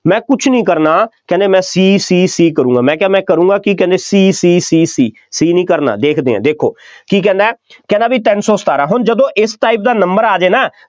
ਮੈਂ ਕੁੱਝ ਨਹੀਂ ਕਰਨਾ, ਕਹਿੰਦੇ ਮੈਂ ਸ਼ੀ ਸੀ ਕਰੂੰਗਾ, ਮੈਂ ਕਿਹਾ ਮੈਂ ਕਰੂੰਗਾ ਕੀ, ਕਹਿੰਦੇ ਸ਼ੀ ਸ਼ੀ ਸ਼ੀ ਸ਼ੀ ਨਹੀਂ ਕਰਨਾ, ਦੇਖਦੇ ਹਾਂ, ਦੇਖੋ, ਕੀ ਕਹਿੰਦਾ, ਕਹਿੰਦਾ ਬਈ ਤਿੰਨ ਸੌ ਸਤਾਰਾ, ਜਦੋਂ ਇਸ type ਦਾ number ਆ ਜਾਏ ਨਾ